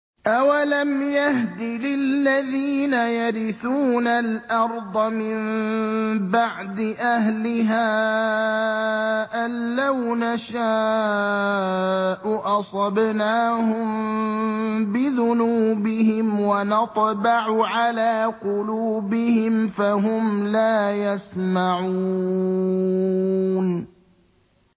أَوَلَمْ يَهْدِ لِلَّذِينَ يَرِثُونَ الْأَرْضَ مِن بَعْدِ أَهْلِهَا أَن لَّوْ نَشَاءُ أَصَبْنَاهُم بِذُنُوبِهِمْ ۚ وَنَطْبَعُ عَلَىٰ قُلُوبِهِمْ فَهُمْ لَا يَسْمَعُونَ